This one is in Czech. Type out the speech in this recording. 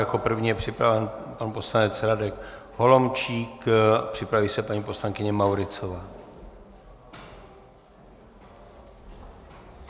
Jako první je připraven pan poslanec Radek Holomčík, připraví se paní poslankyně Mauritzová.